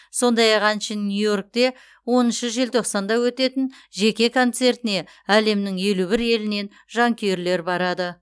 сондай ақ әншінің нью йоркте оныншы желтоқсанда өтетін жеке концертіне әлемнің елу бір елінен жанкүйерлер барады